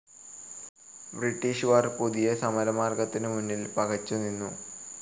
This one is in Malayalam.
ബ്രിട്ടീഷുകാർ പുതിയ സമരമാർഗ്ഗത്തിന് മുന്നിൽ പകച്ചു നിന്നു.